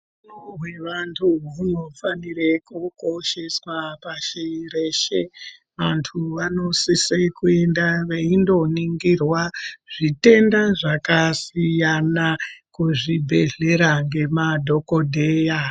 Utano hwevantu hunofanira kukosheswa pashi reshe antu vanosise kuenda veyindo ningirwa zvitenda zvakasiyana kuzvibhedhlera nemadhokodheya.